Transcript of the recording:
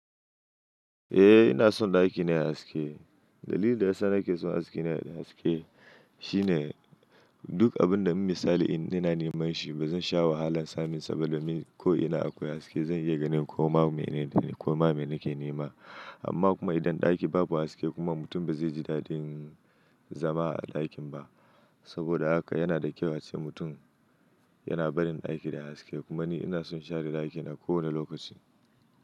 Eh ina son ɗakina yayi haske. Dalilin da yasa nake son dakina ya danyi haske shine duk abun da mun yi sali ina neman shi ba zan sha wahalan samunsa ba domin ko ina akwai haske zan iya ganin komai mai na ke nema. Amma kuma idan ɗaki babu haske kuma mutum ba zai ji daɗin zama a ɗakin ba saboda haka yana da kyau ace mutum yana barin ɗaki da haske. Kuma ni ina son share ɗakina kowane lokaci.